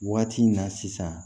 Waati in na sisan